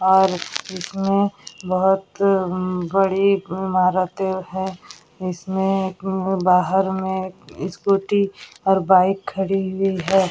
और इसमें बोहोत बड़ी इमारतें हैं। इसमें बाहर में स्कूटी और बाइक खड़ी हुई है।